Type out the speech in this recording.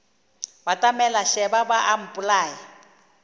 batamela šeba ba a mpolaya